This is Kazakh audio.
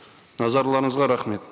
назарларыңызға рахмет